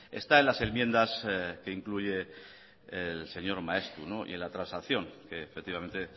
está en las enmiendas que incluye el señor maeztu y en la transacción que efectivamente